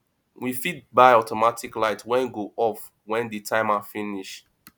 we fit buy automatic light wey go off when the timer finish